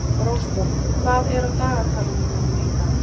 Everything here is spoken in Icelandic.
Rósborg, hvað er á dagatalinu mínu í dag?